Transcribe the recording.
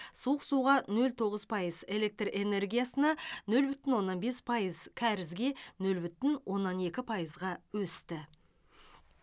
суық суға нөл тоғыз пайыз электр энергиясына нөл бүтін оннан бес пайыз кәрізге нөл бүтін оннан екі пайызға өсті